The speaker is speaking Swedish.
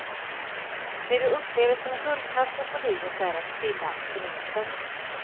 Det du upplever som guldkanten på livet är att stilla abstinensen.